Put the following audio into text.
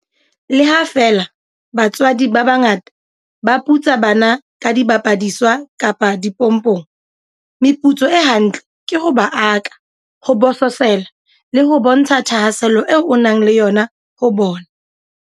Le ha feela batswadi ba bangata ba putsa bana ka dibapadiswa kapa dimpopong, meputso e ha ntle ke ho ba aka, ho bososela le ho bontsha thahaselo eo o nang le yona ho bona.